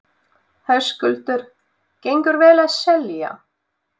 Höskuldur: Gengur vel að selja?